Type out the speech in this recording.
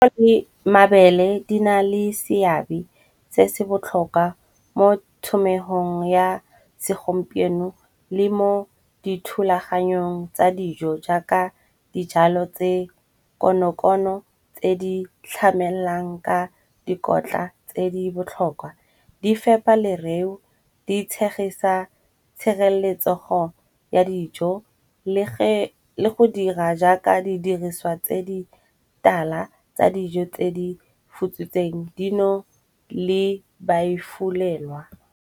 Mabele di na le seabe se se botlhokwa mo thomegong ya segompieno le mo dithulaganyong tsa dijo. Jaaka dijalo tse kono-kono tse di tlhamelang ka dikotla tse di botlhokwa, di fepa lereo, di tshegisa tshireletsego ya dijo. Le go dira jaaka di diriswa tse di tala tsa dijo tse di futsitsweng dino le ba e fulelwa.